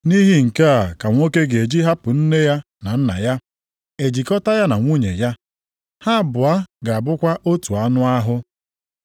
Nʼihi nke a ka nwoke ga-eji hapụ nne ya na nna ya e jikọta ya na nwunye ya. Ha abụọ ga-abụkwa otu anụ ahụ. + 19:4,5 \+xt Jen 1:27; Jen 2:24\+xt*